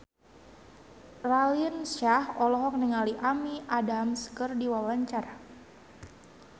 Raline Shah olohok ningali Amy Adams keur diwawancara